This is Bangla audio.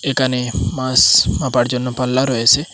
এখানে মাস মাপার জন্য পাল্লা রয়েছে।